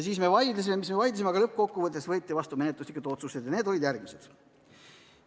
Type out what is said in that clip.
Vaidlesime mis me vaidlesime, aga lõppkokkuvõttes võeti vastu menetluslikud otsused ja need olid järgmised.